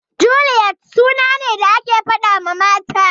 Juliyet suna ne da ake faɗawa mata.